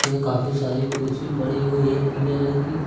ये काफी सारी कुर्सी पड़ी हुई हैं पीले रंग की।